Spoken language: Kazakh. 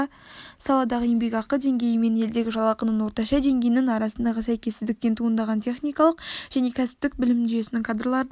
саладағы еңбекақы деңгейі мен елдегі жалақының орташа деңгейінің арасындағы сәйкессіздіктен туындаған техникалық және кәсіптік білім жүйесінен кадрлардың